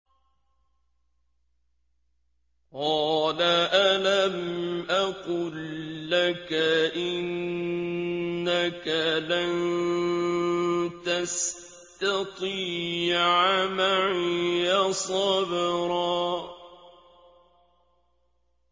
۞ قَالَ أَلَمْ أَقُل لَّكَ إِنَّكَ لَن تَسْتَطِيعَ مَعِيَ صَبْرًا